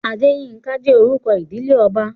Adéyínká jẹ́ orúkọ ìdílé ọba